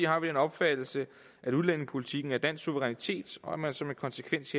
har vi den opfattelse at udlændingepolitikken er dansk suverænitet og at man som en konsekvens